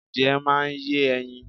Adìyẹ máa ń yé ẹyin.